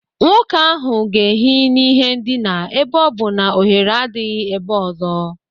Nwoke ahụ ga-ehi n'ihe ndina ebe ọ bụ na ohere adịghị ebe ọzọ.